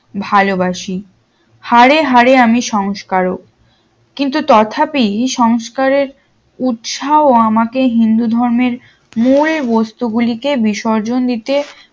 ভালোবাসি হারে হারে আমি সংস্কারক কিন্তু তথাপি সংস্কারের উৎসাহ আমাকে হিন্দু ধর্মের মূল বস্তু গুলিকে বিসর্জন দিতে